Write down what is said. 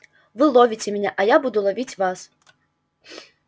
вы ловите меня а я буду ловить вас